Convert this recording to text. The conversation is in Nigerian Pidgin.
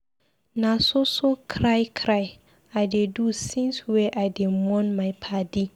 Na so so cry cry I dey do since wey I dey mourn my paddy.